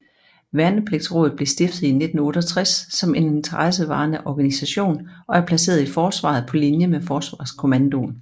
Værnepligtsrådet blev stiftet i 1968 som en interessevaretagende organisation og er placeret i Forsvaret på linje med Forsvarskommandoen